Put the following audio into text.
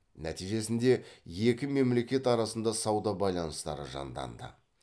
нәтижесінде екі мемлекет арасында сауда байланыстары жанданды